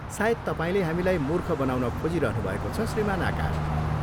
सायद तपाईँले हामीलाई मूर्ख बनाउन खोजिरहनुभएको छ, श्रीमान आकाश।